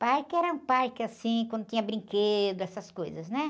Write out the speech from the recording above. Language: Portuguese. Parque era um parque, assim, quando tinha brinquedo, essas coisas, né?